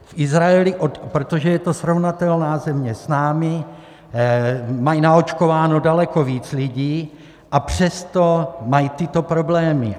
V Izraeli, protože je to srovnatelná země s námi, mají naočkováno daleko více lidí, a přesto mají tyto problémy.